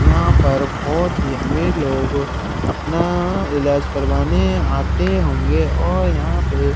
यहाँ पर बहुत ही अमीर लोग अपना इलाज करवाने आते होंगे और --